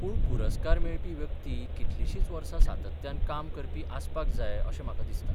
पूण पुरस्कार मेळपी व्यक्ती कितलिशींच वर्सा सातत्यान काम करपी आसपाक जाय अशें म्हाका दिसता.